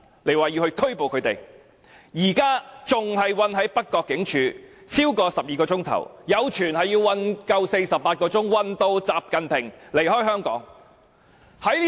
他們已經被囚禁在北角警署超過12小時，有傳他們會被囚禁48小時，直至習近平離開香港。